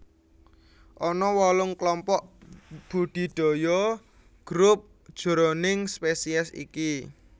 Ana wolung klompok budidaya Group jroning spesies iki